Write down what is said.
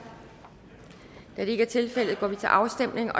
da det ikke er tilfældet går vi til afstemning